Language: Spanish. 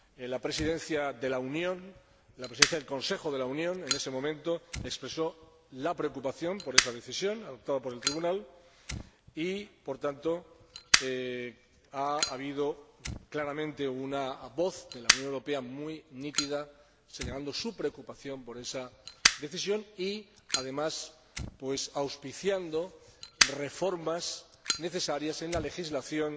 La Presidencia del Consejo de la Unión en ese momento expresó la preocupación por esa decisión adoptada por el Tribunal y, por tanto, ha habido claramente una voz de la Unión Europea, muy nítida, señalando su preocupación por esa decisión y, además, auspiciando reformas necesarias en la legislación